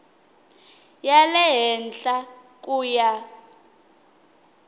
ya le henhla ku ya